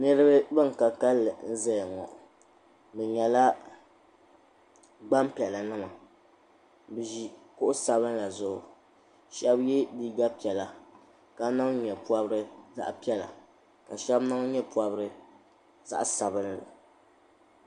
Niriba ban ka kalili n ʒia ŋɔ bɛ nyɛla gbampiɛlli nima bɛ ʒi kuɣu sabinli zuɣu sheba ye liiga piɛlla ka niŋ nyɛ'pobrisi zaɣa piɛlla ka sheba niŋ nyɛ'pobrisi zaɣa sabinli.